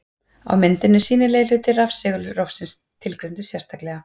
Á myndinni er sýnilegi hluti rafsegulrófsins tilgreindur sérstaklega.